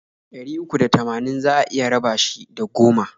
Ɗari uku da tamanin za a iya raba shi da goma.